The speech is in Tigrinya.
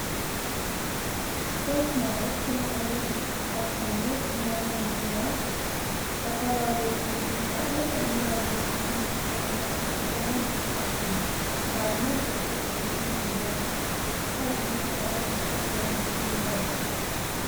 ስፖርት ማለት ኲሉ ዓይነት ምንቅስቓስ ኾይኑ ጥዕናና ንምሕላው ኣካላዊ ሎዉጥ ንምንጻእን ኣእሙራላዊ ንቕሓትኒ ክህለወና ዝሕጊዘና ምንቅሥቓስ እዩ። ንኣብነት ኩዕሲ እግሪ፣ ጕያ ንስካትኩም ከ እንታይ ዓይነት ስፖርት ናይ ምስራሕ ልምዲ ኣለኩም?